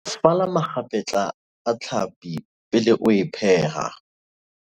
fala makgapetla a tlhapi pele o e pheha